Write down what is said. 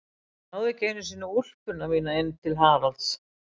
Ég náði ekki einu sinni í úlpuna mína inn til Haralds.